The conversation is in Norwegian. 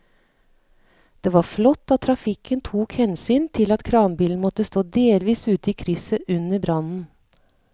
Det var flott at trafikken tok hensyn til at kranbilen måtte stå delvis ute i krysset under brannen.